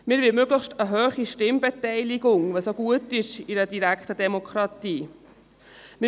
Wir wollen eine möglichst hohe Stimmbeteiligung, was in einer direkten Demokratie gut ist.